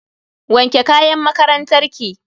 Wanke kayan makarantar ki.